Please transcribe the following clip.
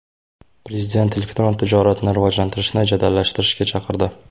Prezident elektron tijoratni rivojlantirishni jadallashtirishga chaqirdi.